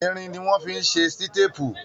Irin ni wọ́n fi ṣe sítépù.